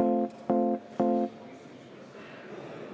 istungi juhataja!